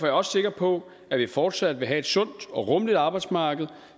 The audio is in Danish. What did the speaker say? jeg også sikker på at vi fortsat vil have sundt og rummeligt arbejdsmarked